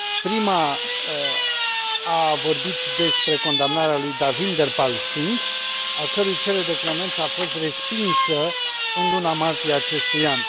Prima a vorbit despre condamnarea lui Devinder Pal Singh, a cărui cerere de clemență a fost respinsă în luna martie a acestui an.